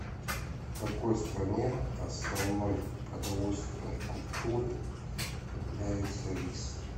в какой стране основной продовольственной культурой является рис